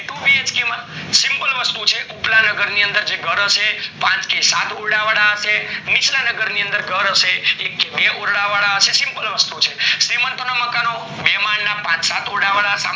એ 2BHK માં simple વસ્તુ છે ઉપલા નગર ની અંદર ઘર હીસે પાંચ થી સાત ઓરડા વાળ હયસે નીચલા ન્બગર માં ઘર હશે એ બે ઓરડા વાળ હયસે simple વસ્તુ છે ચેમેન્ત ના મકાનો બે માલ ના પાચ માળ ના સાત ઓરડા વાળા